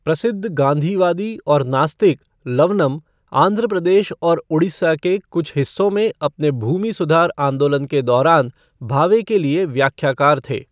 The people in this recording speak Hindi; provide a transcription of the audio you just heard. प्रसिद्ध गाँधीवादी और नास्तिक लवनम आंध्र प्रदेश और उड़ीसा के कुछ हिस्सों में अपने भूमि सुधार आंदोलन के दौरान भावे के लिए व्याख्याकार थे।